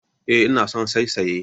Eh, ina son saisaye